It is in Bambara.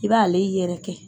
I b'ale yɛrɛkɛ.